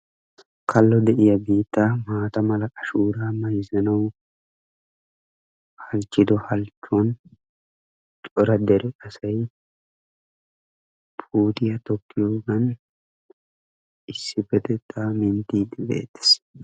kalo de'iyaa biittaa maata mala meraa mayzzanawu halchido halchuwan cora dere asay issippe tokiidi beetees.